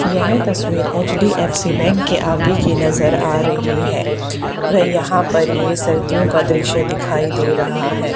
यह तस्वीर HDFC bank के आगे की नजर आ रही है वह यहां पर ये सर्दियों का दृश्य दिखाई दे रहा है।